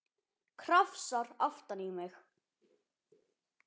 Krafsar aftan í mig.